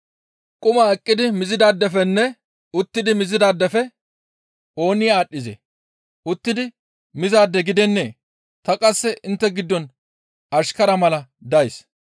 Quma eqqidi mizidaadefenne uttidi mizaadefe ooni aadhdhizee? Uttidi mizaade gidennee? Tani qasse intte giddon ashkara mala days.